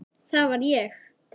Það var ég!